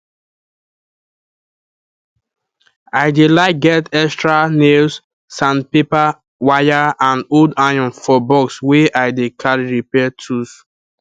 i dey like get extra nailssandpaperwire and old iron for box wey i dey carry repair tools